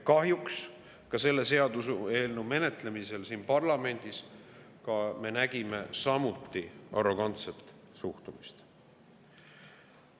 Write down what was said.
Kahjuks ka selle seaduseelnõu menetlemisel siin parlamendis me nägime arrogantset suhtumist.